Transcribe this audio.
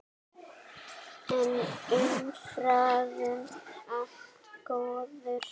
En umfram allt góður vinur.